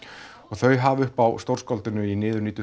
þau hafa uppi á stórskáldinu í niðurníddu